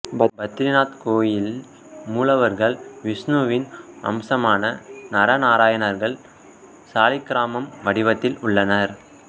பத்ரிநாத் கோயில் மூலவர்கள் விஷ்ணுவின் அம்சமான நரநாராயணனர்கள் சாளக்கிராமம் வடிவத்தில் உள்ளனர்